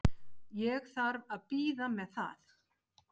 Ég þarf að bíða með það.